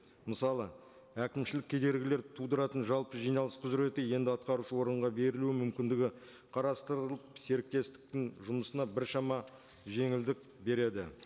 мысалы әкімшілік кедергілер тудыратын жалпы жиналыс құзыреті енді атқарушы органға берілуі мүмкіндігі қарастырылып серіктестіктің жұмысына біршама жеңілдік береді